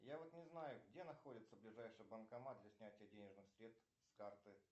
я вот не знаю где находится ближайший банкомат для снятия денежных средств с карты